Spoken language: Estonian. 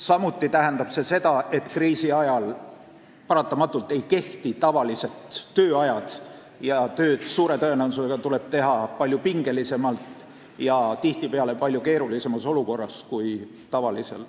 Samuti tuleb aru saada, et kriisi ajal paratamatult ei kehti tavalised tööajad, suure tõenäosusega tuleb tööd teha palju pingelisemalt ja tihtipeale palju keerulisemas olukorras kui rahuajal.